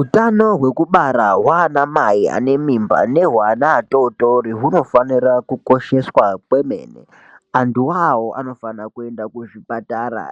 utano hwekubara hwana mai ane imba nehweana atotori hunofanira kukosheswa kwemene. Anhuwoawo anofanira kuenda kuzvipatara